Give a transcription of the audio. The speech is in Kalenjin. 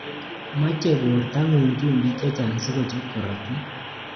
Machei bortongung chumbik chechang sikochop korotik